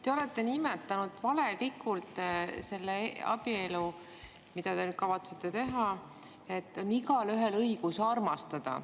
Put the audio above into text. Te olete öelnud valelikult selle abielu kohta, mida te nüüd kavatsete, et igaühel on õigus armastada.